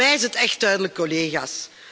Voor mij is het echt duidelijk, collega's.